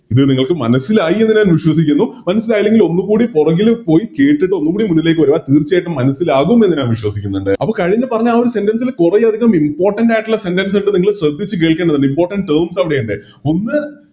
ഇത് നിങ്ങക്ക് മനസ്സിലായി എന്ന് ഞാൻ വിശ്വസിക്കുന്നു മനസ്സിലായില്ലെങ്കിൽ ഒന്നുകൂടി പൊറകില് പോയി കേട്ടിട്ട് ഒന്നുകൂടി മുന്നിലേക്ക് വേരുക തീർച്ചയായിട്ടും മനസ്സിലാകുംന്ന് ഞാൻ വിശ്വസിക്കുന്നുണ്ട് അത് കഴിഞ്ഞ് പറഞ്ഞ ആ ഒരു sentence ല് കുറെയധികം Important ആയിട്ടുള്ള sentence ഇണ്ട് നിങ്ങള് ശ്രെദ്ധിച്ച് കേക്കണം അതില് Important തന്നെ ഇണ്ട് ഒന്ന്